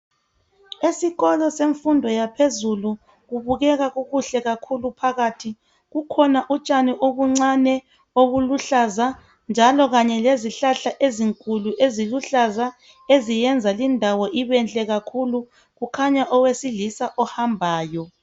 Esikolo semfundo yaphezulu kubukeka kukuhle kakhulu phakathi. Kukhona utshani obuncane obuluhlaza njalo kanye lezihlahla ezinkulu eziluhlaza eziyenza lindawo ibenhle kakhuku. Kukhanya owesilisa ohambayo.